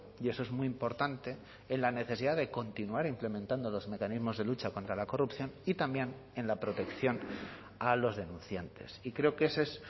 y eso es muy importante en la necesidad de continuar implementando los mecanismos de lucha contra la corrupción y también en la protección a los denunciantes y creo que ese es